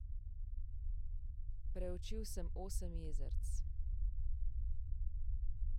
Preučil sem osem jezerc.